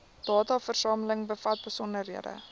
dataversameling bevat besonderhede